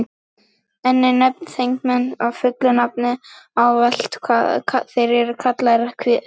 Einnig má nefna þingmenn fullu nafni, en ávallt eru þeir kallaðir háttvirtir.